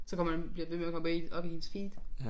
Så kommer det bliver ved med at komme med i op i ens feed